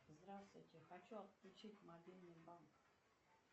здравствуйте хочу отключить мобильный банк